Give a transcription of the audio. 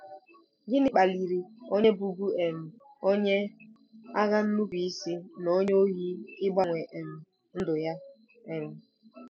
GỊNỊ kpaliri onye bụbu um onye agha nnupụisi na onye ohi ịgbanwe um ndụ ya? um